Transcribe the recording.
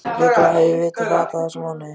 Líklega hef ég vitað það alla þessa mánuði.